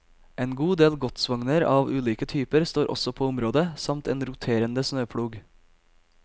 En god del godsvogner av ulike typer står også på området, samt en roterende snøplog.